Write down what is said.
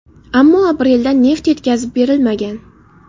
Ammo aprelda neft yetkazib berilmagan.